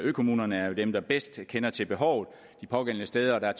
økommunerne er jo dem der bedst kender til behovet de pågældende steder og der